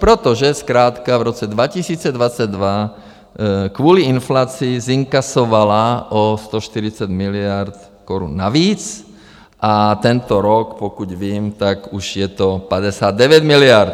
Protože zkrátka v roce 2022 kvůli inflaci zinkasovala o 140 miliard korun navíc a tento rok, pokud vím, tak už je to 59 miliard.